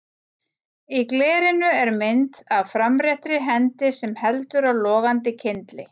Í glerinu er mynd af framréttri hendi sem heldur á logandi kyndli.